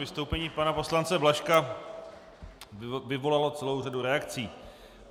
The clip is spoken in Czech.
Vystoupení pana poslance Blažka vyvolalo celou řadu reakcí.